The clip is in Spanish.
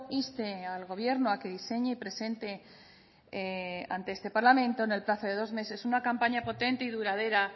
inste al gobierno a que diseñe y presente ante este parlamento en el plazo de dos meses una campaña presente y duradera